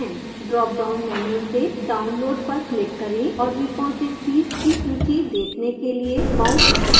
drop down menu से download पर click करें और repositories की सूची देखने के लिए mouse button पकड़कर रखें